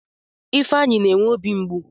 Ifeanyi na-enwe obi mgbu